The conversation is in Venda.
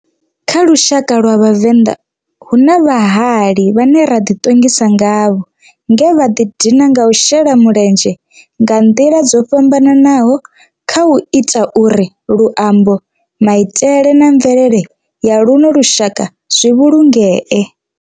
Kha lushaka lwa Vhavenḓa, hu na vhahali vhane ra di tongisa ngavho nge vha di dina nga u shela mulenzhe nga ndila dzo fhambananaho khau ita uri luambo, maitele na mvelele ya luno lushaka zwi vhulungee.